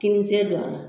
Kinisen don a la